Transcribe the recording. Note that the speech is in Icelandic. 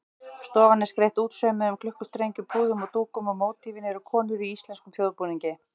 Stofan er skreytt útsaumuðum klukkustrengjum, púðum og dúkum og mótífin eru konur í íslenskum þjóðbúningi.